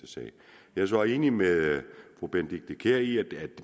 jeg er så enig med fru benedikte kiær i at